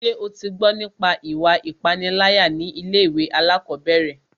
Ṣé o tí gbọ́ nípa ìwà ipániláyà ní ilé ìwé alákọ̀berẹ̀?